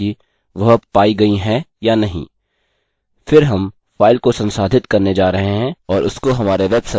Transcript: फिर हम फाइल को संसाधित करने जा रहे हैं और उसको हमारे वेब सर्वर में एक विशिष्ट डायरेक्ट्री में सेव करेंगे